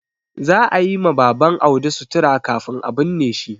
Za a yi ma Baban Audi sutura kafin a binne shi.